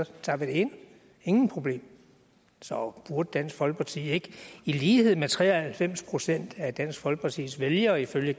så tager vi det ind ingen problemer så burde dansk folkeparti ikke i lighed med tre og halvfems procent af dansk folkepartis vælgere ifølge